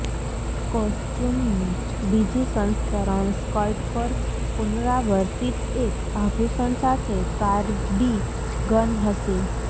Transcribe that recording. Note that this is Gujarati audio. કોસ્ચ્યુમનું બીજું સંસ્કરણ સ્કર્ટ પર પુનરાવર્તિત એક આભૂષણ સાથે કાર્ડિગન હશે